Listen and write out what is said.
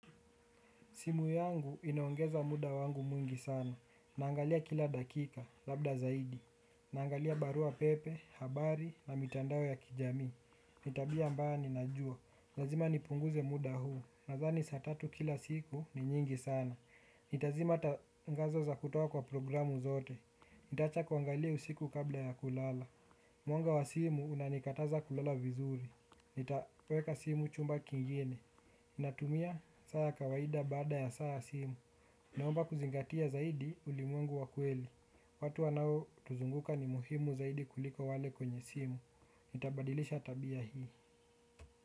Simu yangu inaongeza muda wangu mwingi sana. Naangalia kila dakika, labda zaidi. Naangalia barua pepe, habari na mitandao ya kijamii. Ni tabia ambayo ninajua. Lazima nipunguze muda huu. Nadhani saa tatu kila siku ni nyingi sana. Nitazima tangazo za kutoa kwa programu zote. Nitaacha kuangalia usiku kabla ya kulala. Mwanga wa simu unanikataza kulala vizuri. Nitaweka simu chumba kingine. Natumia saa ya kawaida baada ya saa ya simu. Naomba kuzingatia zaidi ulimwengu wa kweli. Watu wanao tuzunguka ni muhimu zaidi kuliko wale kwenye simu. Nitabadilisha tabia hii.